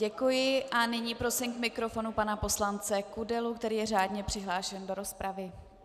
Děkuji a nyní prosím k mikrofonu pana poslance Kudelu, který je řádně přihlášen do rozpravy.